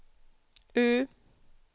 U